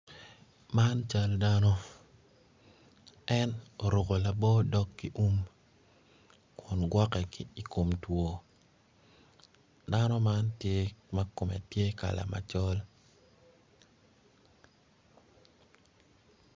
Man cal dano en oruku labo dog ki um kun gwokke ki i kom two dano man tye ma kala kume tye macol